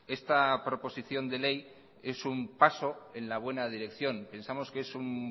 esta proposición de ley es un paso en la buena dirección pensamos que es un